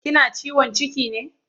Kina ciwon ciki ne?